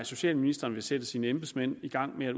socialministeren vil sætte sine embedsmænd i gang med